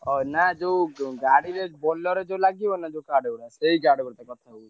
ହଁ ନା ଯୋଉ ଗାଡିରେ Bolero ରେ ଯୋଉ ଲାଗିବନି ଯୋଉ card ଗୁଡା ସେଇ card ଗୁଡା ଛପେଇବି।